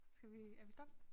Skal vi er vi stop?